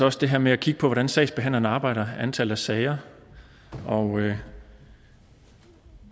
os det her med at kigge på hvordan sagsbehandlerne arbejder antal af sager og